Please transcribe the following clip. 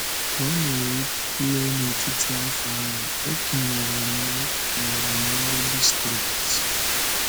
Ka ọ na-erule n’etiti afọ ahụ, e kenyere m e kenyere m ọrụ distrikti.